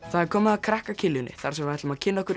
það er komið að krakka þar sem við ætlum að kynna okkur